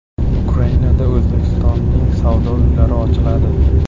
Ukrainada O‘zbekistonning savdo uylari ochiladi.